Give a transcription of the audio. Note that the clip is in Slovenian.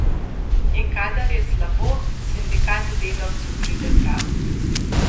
In kadar je slabo, sindikat delavcu pride prav.